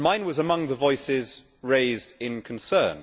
Mine was among the voices raised in concern.